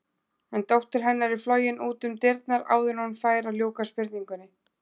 En dóttir hennar er flogin út um dyrnar áður en hún fær að ljúka spurningunni.